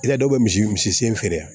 I ka dɔw bɛ misi misi sen feere yan